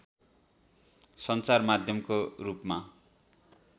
सञ्चार माध्यमको रूपमा